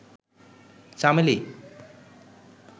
চামেলি